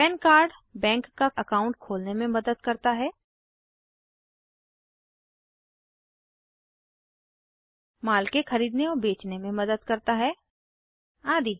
पन card bank का account खोलने में मदद करता है माल के खरीदने और बेचने में मदद करता है आदि